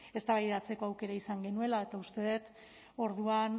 eztabaidatzeko aukera izan genuela eta uste dut orduan